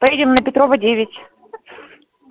поедем на петрова девять